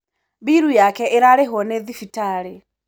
mbilu yake īrarīhirwo nī thibitarī.